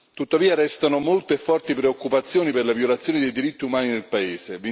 Tuttavia, restano molte e forti preoccupazioni per le violazioni dei diritti umani nel Paese.